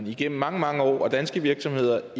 igennem mange mange år har danske virksomheder